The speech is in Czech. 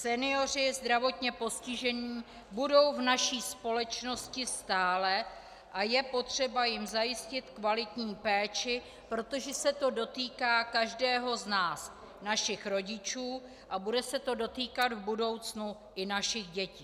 Senioři a zdravotně postižení budou v naší společnosti stále a je potřeba jim zajistit kvalitní péči, protože se to dotýká každého z nás, našich rodičů a bude se to dotýkat v budoucnu i našich dětí.